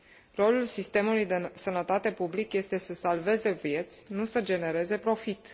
Rolul sistemului de sănătate public este să salveze vieți, nu să genereze profit.